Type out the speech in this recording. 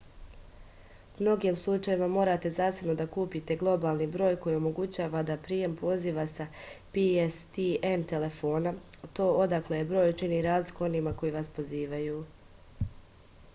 u mnogim slučajevima morate zasebno da kupite globalni broj koji omogućava da prijem poziva sa pstn telefona to odakle je broj čini razliku onima koji vas pozivaju